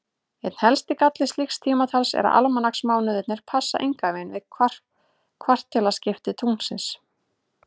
Einn helsti galli slíks tímatals er að almanaksmánuðirnir passa engan veginn við kvartilaskipti tunglsins.